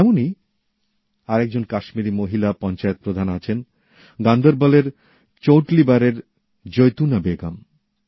এমনই আরেকজন কাশ্মীরী মহিলা পঞ্চায়েত প্রধান আছেন গান্দরওয়ালের চৌঁটলিবারের জৈতুনা বেগম